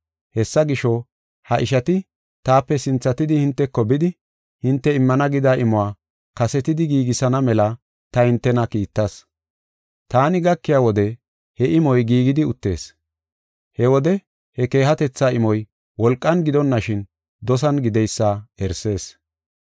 Hessa gisho, ha ishati taape sinthatidi hinteko bidi, hinte immana gida imuwa kasetidi giigisana mela ta entana kiittas. Taani gakiya wode he imoy giigidi uttees. He wode he keehatetha imoy wolqan gidonashin, dosan gideysa erisees.